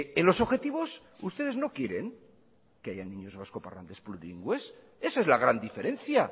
en los objetivos ustedes no quieren que haya niños vascoparlantes plurilingües esa es la gran diferencia